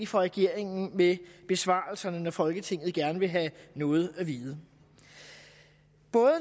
for regeringen med besvarelserne når folketinget gerne vil have noget at vide